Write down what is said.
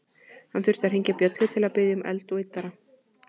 Hann þurfti að hringja bjöllu til að biðja um eld og yddara.